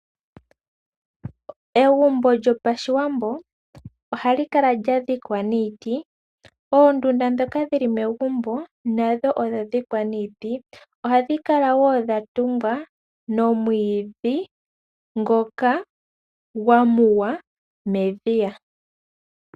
Egumbo lyopashiwambo ohali kala lyadhikwa niiti. Oondunda ndhoka dhili megumbo nadho odha dhikwa niiti, ohadhi kala wo dhatungwa nomwiidhi ngoka gwa muwa medhiya.